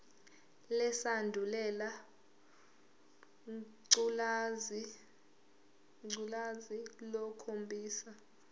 lesandulela ngculazi lukhombisa